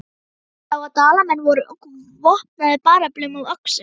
Hann sá að Dalamenn voru vopnaðir bareflum og öxum.